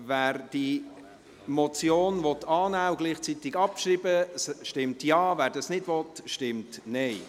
Wer diese Motion annehmen und gleichzeitig abschreiben will, stimmt Ja, wer dies nicht will, stimmt Nein.